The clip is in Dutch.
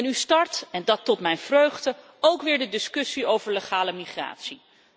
En u start en dat tot mijn vreugde ook weer de discussie over legale migratie.